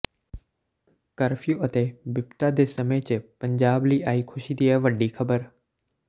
curfew ਅਤੇ ਬਿਪਤਾ ਦੇ ਸਮੇਂ ਚ ਪੰਜਾਬ ਲਈ ਆਈ ਖੁਸ਼ੀ ਦੀ ਇਹ ਵੱਡੀ ਖਬਰ